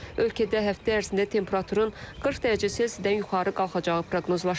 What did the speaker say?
Ölkədə həftə ərzində temperaturun 40 dərəcə C-dən yuxarı qalxacağı proqnozlaşdırılır.